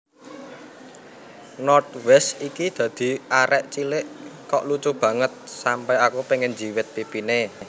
North West iki dadi arek cilik kok lucu banget sampe aku pengen njiwit pipine